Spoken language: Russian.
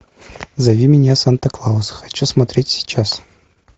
зови меня санта клаус хочу смотреть сейчас